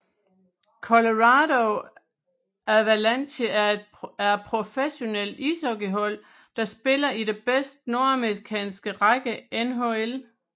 Colorado Avalanche er et professionelt ishockeyhold der spiller i den bedste nordamerikanske række NHL